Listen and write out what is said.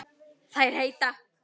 Þær heita